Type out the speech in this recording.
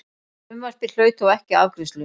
Frumvarpið hlaut þó ekki afgreiðslu.